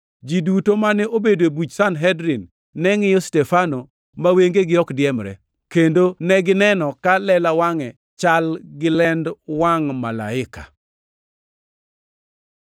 Ji duto mane obedo e buch Sanhedrin ne ngʼiyo Stefano ma wengegi ok diemre, kendo negineno ka lela wangʼe chal gi lend wangʼ malaika.